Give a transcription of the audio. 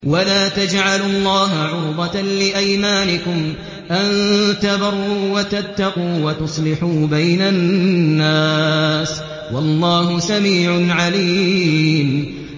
وَلَا تَجْعَلُوا اللَّهَ عُرْضَةً لِّأَيْمَانِكُمْ أَن تَبَرُّوا وَتَتَّقُوا وَتُصْلِحُوا بَيْنَ النَّاسِ ۗ وَاللَّهُ سَمِيعٌ عَلِيمٌ